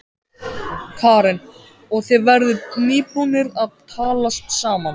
Karen: Og þið voruð nýbúnir að talast saman?